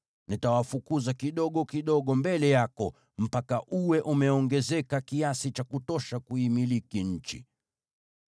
Nitawafukuza kidogo kidogo mbele yako, mpaka uwe umeongezeka kiasi cha kutosha kuimiliki nchi.